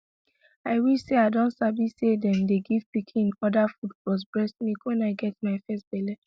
i wish say i don sabi say them dey give pikin other food plus breast milk when i get my first belle